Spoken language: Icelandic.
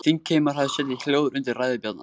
Þingheimur hafði setið hljóður undir ræðu Bjarnar.